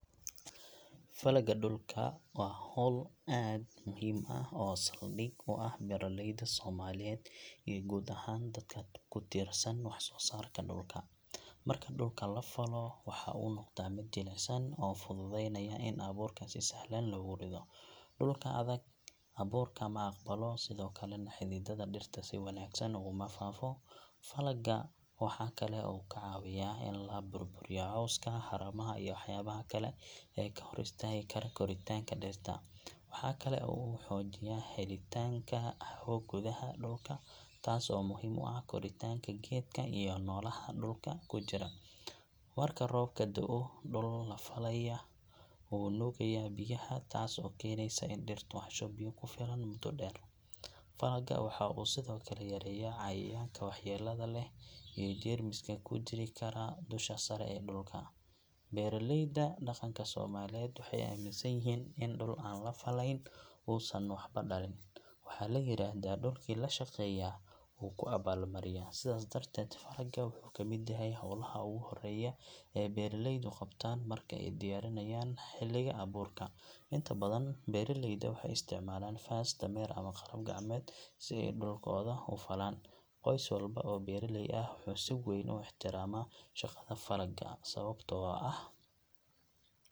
Falagga dhulka waa hawl aad u muhiim ah oo saldhig u ah beeralayda Soomaaliyeed iyo guud ahaan dadka ku tiirsan wax-soo-saarka dhulka. Marka dhulka la fallo, waxa uu noqdaa mid jilicsan oo fududeynaya in abuurka si sahlan loogu rido. Dhulka adag abuurka ma aqbalo, sidoo kalena xididdada dhirta si wanaagsan uguma faafo. Falagga waxa kale oo uu ka caawiyaa in la burburiyo cawska, haramaha iyo waxyaabaha kale ee ka hor istaagi kara koritaanka dhirta. Waxa kale oo uu xoojiyaa helitaanka hawo gudaha dhulka, taas oo muhiim u ah koritaanka geedka iyo noolaha dhulka ku jira. Marka roobka da’o, dhul la falay wuu nuugaa biyaha, taas oo keenaysa in dhirtu hesho biyo ku filan muddo dheer. Falagga waxa uu sidoo kale yareeyaa cayayaanka waxyeellada leh iyo jeermiska ku jiri kara dusha sare ee dhulka. Beeraleyda dhaqanka Soomaaliyeed waxay aaminsan yihiin in dhul aan la fallayn uusan waxba dhalin. Waxaa la yiraahdaa dhulkii la shaqeeyaa wuu ku abaal mariyaa. Sidaas darteed, falagga wuxuu ka mid yahay hawlaha ugu horreeya ee beeraleydu qabtaan marka ay diyaarinayaan xilliga abuurka. Inta badan, beeraleyda waxay isticmaalaan faras, dameer ama qalab gacmeed si ay dhulkooda u falaan. Qoys walba oo beeraley ah wuxuu si weyn u ixtiraamaa shaqada falagga, sababtoo ah .